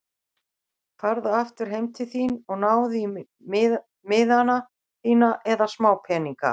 Farðu aftur heim til þín og náðu í miðana þína eða smápeninga.